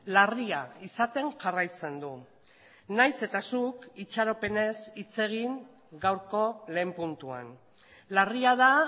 larria izaten jarraitzen du nahiz eta zuk itxaropenez hitz egin gaurko lehen puntuan larria da